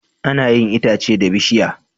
Ana yin itace da bishiya